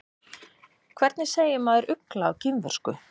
Hvernig segir maður ugla á kínversku?